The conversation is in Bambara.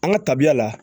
An ka tabiya la